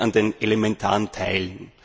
Es fehlt an den elementaren Teilen.